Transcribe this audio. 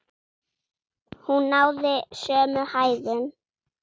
Hún náði sömu hæðum!